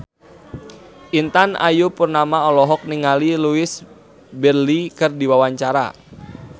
Intan Ayu Purnama olohok ningali Louise Brealey keur diwawancara